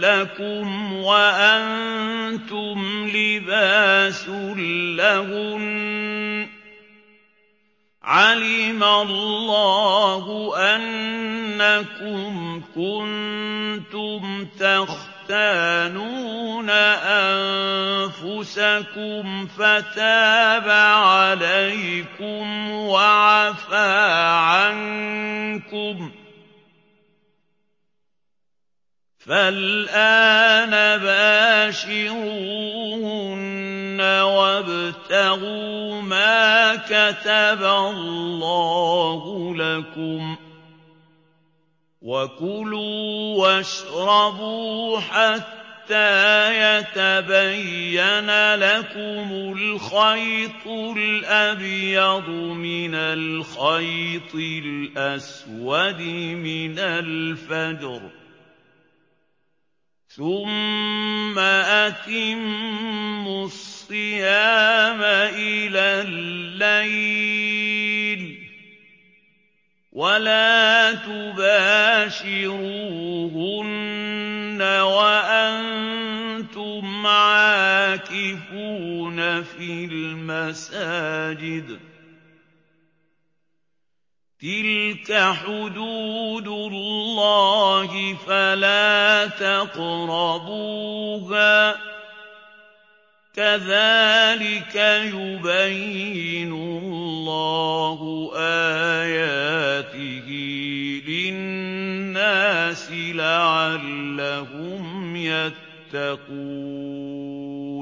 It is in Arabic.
لَّكُمْ وَأَنتُمْ لِبَاسٌ لَّهُنَّ ۗ عَلِمَ اللَّهُ أَنَّكُمْ كُنتُمْ تَخْتَانُونَ أَنفُسَكُمْ فَتَابَ عَلَيْكُمْ وَعَفَا عَنكُمْ ۖ فَالْآنَ بَاشِرُوهُنَّ وَابْتَغُوا مَا كَتَبَ اللَّهُ لَكُمْ ۚ وَكُلُوا وَاشْرَبُوا حَتَّىٰ يَتَبَيَّنَ لَكُمُ الْخَيْطُ الْأَبْيَضُ مِنَ الْخَيْطِ الْأَسْوَدِ مِنَ الْفَجْرِ ۖ ثُمَّ أَتِمُّوا الصِّيَامَ إِلَى اللَّيْلِ ۚ وَلَا تُبَاشِرُوهُنَّ وَأَنتُمْ عَاكِفُونَ فِي الْمَسَاجِدِ ۗ تِلْكَ حُدُودُ اللَّهِ فَلَا تَقْرَبُوهَا ۗ كَذَٰلِكَ يُبَيِّنُ اللَّهُ آيَاتِهِ لِلنَّاسِ لَعَلَّهُمْ يَتَّقُونَ